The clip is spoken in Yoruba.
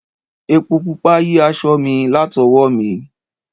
Epo Pupa yí aṣọ mi latowo mi.